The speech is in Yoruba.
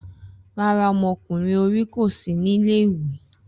Rara, ọmọkunrin ori ko si ni ile-iwe